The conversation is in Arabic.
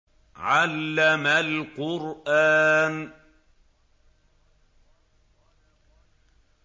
عَلَّمَ الْقُرْآنَ